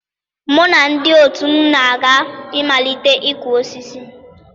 Mụ na ndị otu m ga-aga imalite ịkụ osisi.